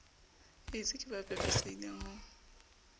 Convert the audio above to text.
aids ke ba pepesehileng ho